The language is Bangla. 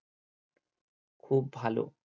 খুব ভালো